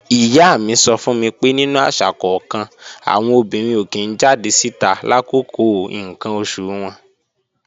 Ìyá mi sọ fún mi pé nínú àṣà kọ́kan, àwọn obìnrin ò kí ń jáde síta làkókò ǹkan oṣù wọn